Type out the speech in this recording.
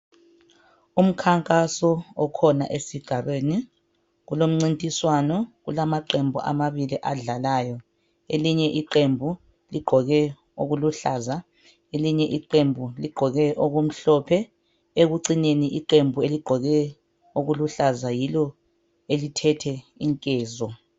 Umkhankaso okhona esigabeni. Kulomncintiswano. Kulamaqembu amabili adlalayo. Elinye iqembu ligqoke okuluhlaza. Elinye iqembu ligqoke okumhlophe. Ekucineni iqembu eligqoke okuluhlaza, yilo elithethe inkezo,